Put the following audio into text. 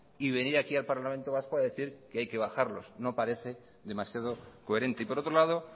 y venir aquí al parlamento vasco a decir que hay que bajarlos no parece demasiado coherente y por otro lado